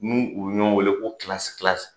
N'u bi ɲɔgɔn wele ko .